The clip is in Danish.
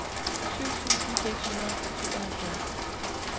syv tusind seks hundrede og tooghalvfjerds